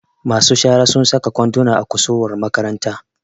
masu shara sun saka kwanduna a kusurwar makaranta